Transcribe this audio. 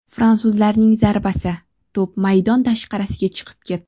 Fransuzlarning zarbasi, to‘p maydon tashqarisiga chiqib ketdi.